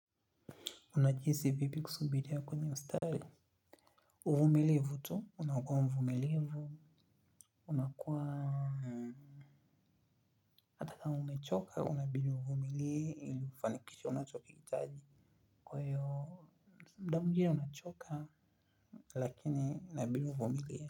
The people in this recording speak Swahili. Unajihisi vipi kusubiria kwenye ustari. Uvumilivu tu, unakua mvumilivu. Unakua angalau umechoka, unabidi uvumilie ili kufanikisha unachokihitaji. Kwa hiyo, muda mwingine unachoka. Lakini unabidi uvumilie.